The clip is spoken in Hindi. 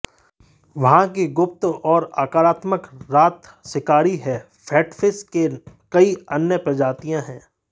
वहाँ कि गुप्त और आक्रामक रात शिकारी हैं कैटफ़िश के कई अन्य प्रजातियां हैं